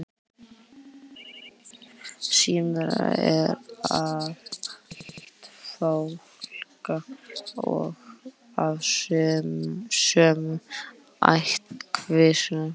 smyrillinn er af ætt fálka og af sömu ættkvísl og fálkinn